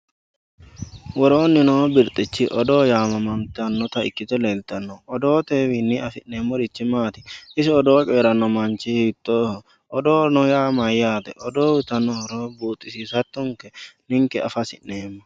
Worooni noo birxichi odoo yamamantanota ikite leeltano odootewini afinemori maati isi odoo coyirano manchi hiitoho odoono yaa mayaate odoo uyitano horo buuxisisatonke inke afa hasinemo.